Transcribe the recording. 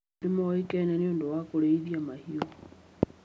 Nĩ moĩkaine nĩ ũndũ wa kũrĩithia mahiũ.